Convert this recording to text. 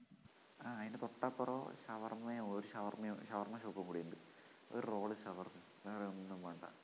ആ അതിന് തൊട്ടപ്പുറം ഷവർമ്മയോ ഷവർമ്മ shop ഉം കൂടിയുണ്ട് ഒരു roll ഉ ഷവർമ്മ വേറൊന്നും വേണ്ട